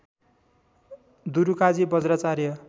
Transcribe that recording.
Durukaji Bajracharya